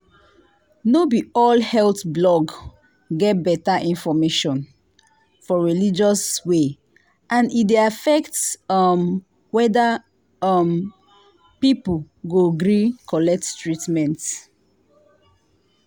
no be all health blog get better information for religious way and e dey affect um whether um people go gree collect treatment.